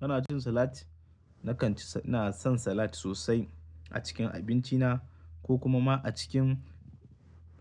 Kana jin salati? Nakan ci, ina son salat sosai a cikin abinci na ko kuma ma a cikin